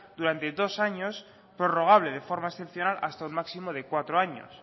durante dos años prorrogable de forma excepcional hasta un máximo de cuatro años